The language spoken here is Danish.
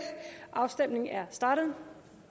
afstemningen er startet